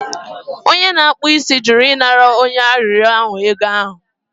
Onye na-akpụ isi jụrụ ịnara onye arịrịọ ahụ ego ahụ